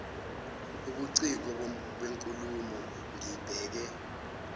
ubuciko benkulumo ngibheke